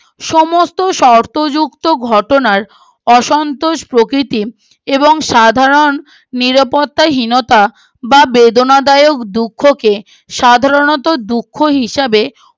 সমস্ত শর্তযুক্ত ঘটনার অসন্তোষ প্রকৃতির এবং সাধারণ নিরাপত্তা হীনতা বা বেদনাদায়ক দুঃখকে সাধারণতঃ দুঃখ হিসাবে